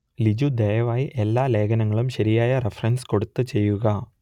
ലിജു ദയവായി എല്ലാ ലേഖനങ്ങളും ശരിയായ റെഫറൻസ് കൊടുത്ത് ചെയ്യുക